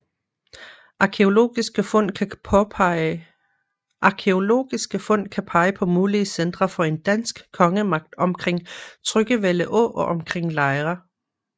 Arkæologiske fund kan pege på mulige centre for en dansk kongemagt omkring Tryggevælde Å og omkring Lejre